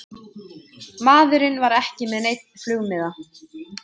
Maðurinn var ekki með neinn flugmiða